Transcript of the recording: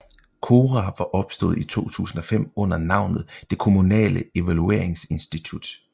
KORA var opstået i 2005 under navnet Det Kommunale Evalueringsinstitut